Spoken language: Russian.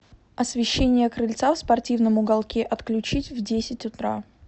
освещение крыльца в спортивном уголке отключить в десять утра